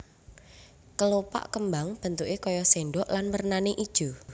Kelopak kembang bentuké kaya sendok lan wernané ijo